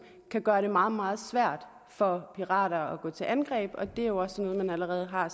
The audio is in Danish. kan gøre det meget meget svært for pirater at gå til angreb det er jo også noget man allerede har